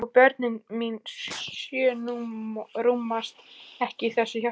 Og börnin mín sjö rúmast ekki í þessu hjarta.